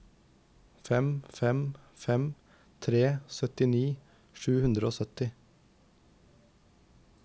fem fem fem tre syttini sju hundre og sytti